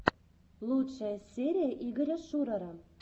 лучшая серия игоря шурара